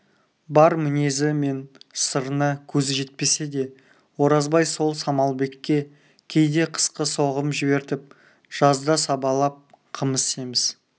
бар мінезі мен сырына көзі жетпесе де оразбай сол самалбекке кейде қысқы соғым жібертіп жазда сабалап қымыз семіз